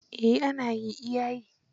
Eh ana yi iya yi.